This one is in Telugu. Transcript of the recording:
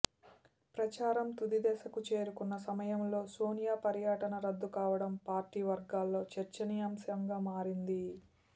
ప్రచారం తుది దశకు చేరుకున్న సమయంలో సోనియా పర్యటన రద్దు కావడం పార్టీ వర్గాల్లో చర్చనీయాంశంగా మారింది